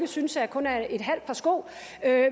synes kun er et halvt par sko